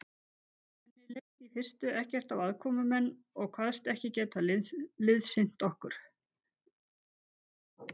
Henni leist í fyrstu ekkert á aðkomumenn og kvaðst ekki geta liðsinnt okkur.